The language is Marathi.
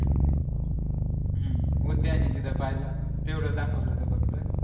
हम्म उद्याने तिथं पहिला तेवढंच दाखवलं होत तिथं